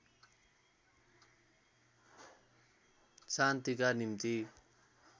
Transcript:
शान्तिका निम्ति